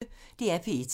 DR P1